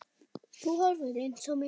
Þú horfir eins á mig.